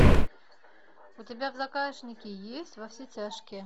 у тебя в загашнике есть во все тяжкие